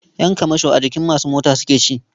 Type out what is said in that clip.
Ƴan kamasho a jikin masu mota suke ci.